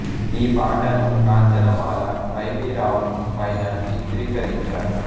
ఈ పాటను Kanchanamala Y V Rao పైన చిత్రీకరించారు